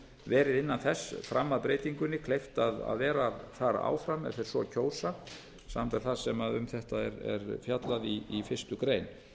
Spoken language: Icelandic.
verið innan þess fram að breytingunni kleift að vera þar áfram ef þeir svo kjósa samanber það sem um þetta er fjallað í fyrstu grein